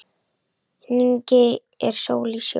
Hnigin er sól í sjó.